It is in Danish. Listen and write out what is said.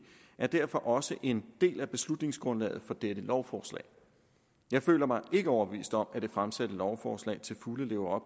er derfor også en del af beslutningsgrundlaget for dette lovforslag jeg føler mig ikke overbevist om at det fremsatte lovforslag til fulde lever